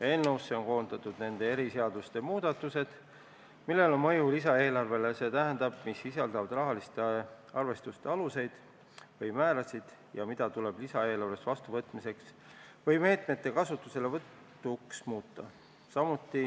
Eelnõusse on koondatud nende eriseaduste muudatused, millel on mõju lisaeelarvele, st mis sisaldavad rahaliste arvestuste aluseid või määrasid ja mida tuleb lisaeelarves vastuvõtmiseks või meetmete kasutuselevõtuks muuta.